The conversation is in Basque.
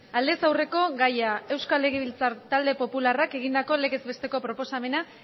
aldez aurreko gaia euskal legebiltzar talde popularrak egindako legez besteko proposamena